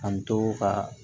An to ka